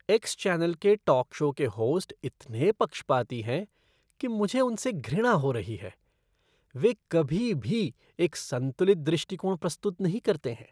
X channel के talk show के host इतने पक्षपाती हैं कि मुझे उनसे घृणा हो रही है। वे कभी भी एक संतुलित दृष्टिकोण प्रस्तुत नहीं करते हैं।